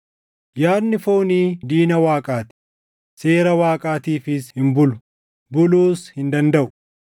Yaadni foonii diina Waaqaa ti; seera Waaqaatiifis hin bulu. Buluus hin dandaʼu.